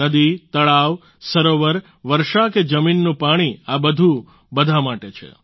નદી તળાવ સરોવર વર્ષા કે જમીનનું પાણી આ બધું બધા માટે છે